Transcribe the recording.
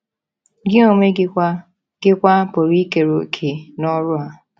Gị onwe gị kwa gị kwa pụrụ ikere òkè n’ọrụ a.